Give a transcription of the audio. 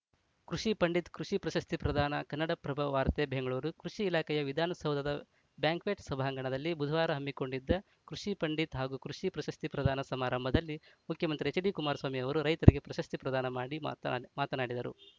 ಕೃಷಿ ಪಂಡಿತ ಕೃಷಿ ಪ್ರಶಸ್ತಿ ಪ್ರದಾನ ಕನ್ನಡಪ್ರಭ ವಾರ್ತೆ ಬೆಂಗಳೂರು ಕೃಷಿ ಇಲಾಖೆಯು ವಿಧಾನಸೌಧದ ಬ್ಯಾಂಕ್ವೆಟ್‌ ಸಭಾಂಗಣದಲ್ಲಿ ಬುಧವಾರ ಹಮ್ಮಿಕೊಂಡಿದ್ದ ಕೃಷಿ ಪಂಡಿತ್ ಹಾಗೂ ಕೃಷಿ ಪ್ರಶಸ್ತಿ ಪ್ರದಾನ ಸಮಾರಂಭದಲ್ಲಿ ಮುಖ್ಯಮಂತ್ರಿ ಎಚ್‌ಡಿ ಕುಮಾರಸ್ವಾಮಿ ಅವರು ರೈತರಿಗೆ ಪ್ರಶಸ್ತಿ ಪ್ರದಾನ ಮಾಡಿ ಮಾತ್ ನ್ ಮಾತನಾಡಿದರು